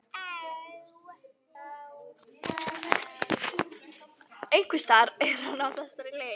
Einhversstaðar er hann á þessari leið.